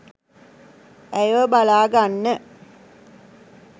ඇයව බලාගන්න